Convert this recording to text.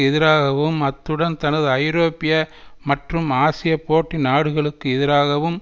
எதிராகவும் அத்துடன் தனது ஐரோப்பிய மற்றும் ஆசிய போட்டி நாடுகளுக்கு எதிராகவும்